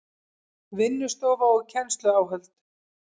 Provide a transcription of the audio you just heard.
Vinnustofa og kennsluáhöld